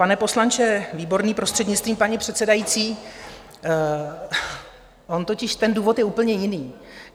Pane poslanče Výborný, prostřednictvím paní předsedající, on totiž ten důvod je úplně jiný.